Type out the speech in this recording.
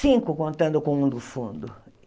Cinco contando com um no fundo.